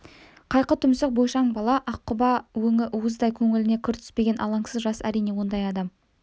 қайқы тұмсық бойшаң бала ақ құба өңі уыздай көңіліне кір түспеген алаңсыз жас әрине ондай адам